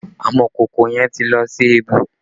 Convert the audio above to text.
Amọ̀kòkò yẹn ti lọ sí ẹbu